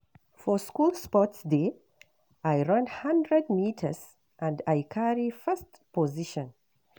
For school sports day, I run one hundred meters and I carry first position.